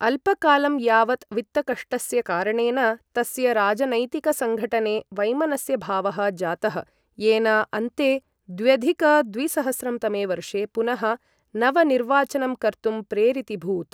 अल्पकालं यावत् वित्तकष्टस्य कारणेन तस्य राजनैतिकसङ्घटने वैमनस्यभावः जातः येन अन्ते द्व्यधिक द्विसहस्रं तमे वर्षे पुनः नवनिर्वाचनं कर्तुं प्रेरितिभूत्।